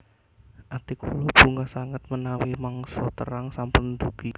Ati kula bungah sanget menawi mangsa terang sampun ndugi